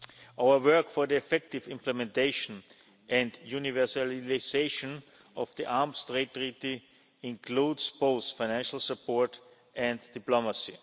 Our work for the effective implementation and universalisation of the Arms Trade Treaty includes both financial support and diplomacy.